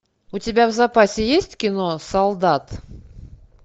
у тебя в запасе есть кино солдат